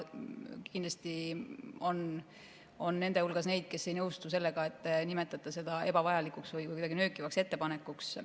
Kindlasti on nende hulgas neid, kes ei nõustu sellega, et te nimetate seda ebavajalikuks või kuidagi nöökivaks ettepanekuks.